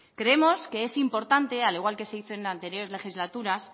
creemos que es importante al igual que se hizo en anteriores legislaturas